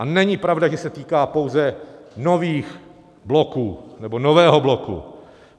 A není pravda, že se týká pouze nových bloků, nebo nového bloku.